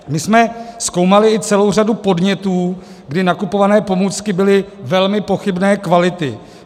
My jsme zkoumali i celou řadu podnětů, kdy nakupované pomůcky byly velmi pochybné kvality.